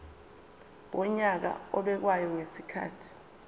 wonyaka obekwayo ngezikhathi